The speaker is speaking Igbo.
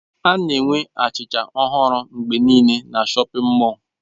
A na-enwe achịcha ọhụrụ mgbe niile na shọpin mọll.